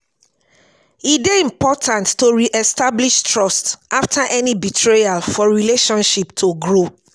e dey important to re-establish trust after any betrayal for relationships to grow.